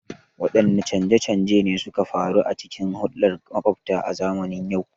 Waɗanne canje-canje ne suka faru a cikin hulɗar maƙwabta a zamanin yau?